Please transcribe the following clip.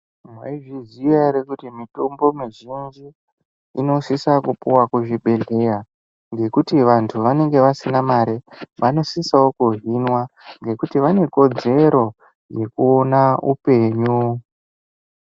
Mwaizviziya ere kuti mitombo mizhinji inosisa kupiwa kuzvibhehlera ngekuti vantu vanenge vasina mare vanosisawo kuhinwa ngekuti vanekodzero yekuona upenyu.